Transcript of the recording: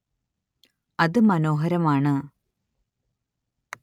അത് മനോഹരമാണ്